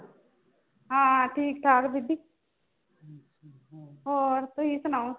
ਹਾਂ ਠੀਕ ਠਾਕ ਬੀਬੀ ਹੋਰ ਤੁਸੀਂ ਸੁਣਾਓ।